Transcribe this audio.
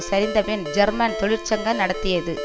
சரிந்தபின் German தொழிற்சங்க நடத்தியது